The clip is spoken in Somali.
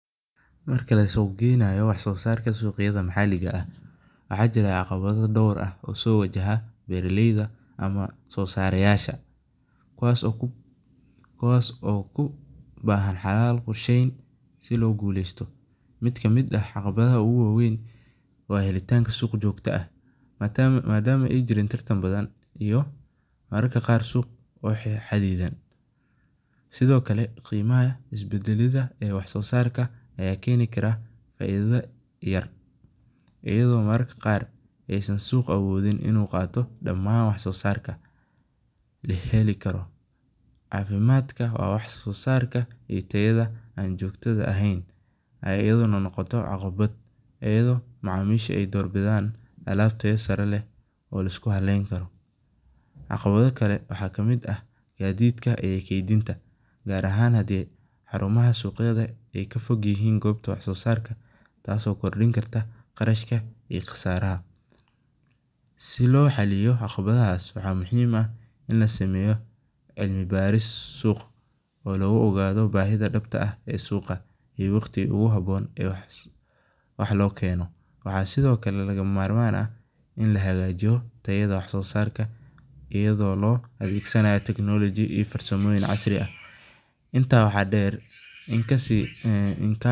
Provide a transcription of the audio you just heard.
Marka la suq geynayo wax sosarka suqyaada maxaliga ah waxaa jira caqawadho dor ah oo so wajaha beera leyda ama wax sosarayasha kuwas oo ku bahan xalal korshen si logu gulesto miid ka miid ah suq jogto ah, sithokale isbadalinta suqa aya keni karaa faidho, caqawado kale waxaa kamiid ah gadidka tas oo keni kartaa qasaro, waxaa sithokale laga mamarmanka ah wax sosarka iyada oo lo adhegsanayo tecnolojiyaad iyo farsamo casri ah, inta waxaa der in kasi.